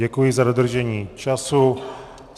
Děkuji za dodržení času.